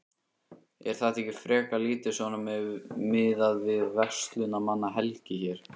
Er þetta ekki frekar lítið svona miðað við verslunarmannahelgi hér?